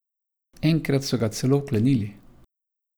Enkrat so ga celo vklenili.